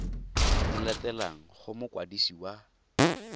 di latelang go mokwadisi wa